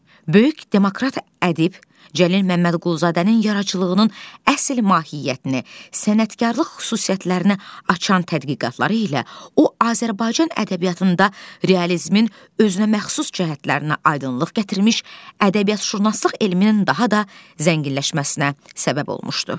Böyük demokrat ədib Cəlil Məmmədquluzadənin yaradıcılığının əsl mahiyyətini, sənətkarılıq xüsusiyyətlərinə açan tədqiqatları ilə o Azərbaycan ədəbiyyatında realizmin özünəməxsus cəhətlərinə aydınlıq gətirmiş, ədəbiyyatşünaslıq elminin daha da zənginləşməsinə səbəb olmuşdu.